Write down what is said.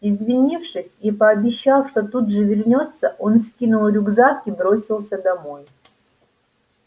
извинившись и пообещав что тут же вернётся он скинул рюкзак и бросился домой